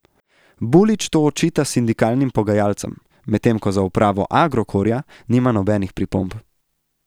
Bulić to očita sindikalnim pogajalcem, medtem ko za upravo Agrokorja nima nobenih pripomb.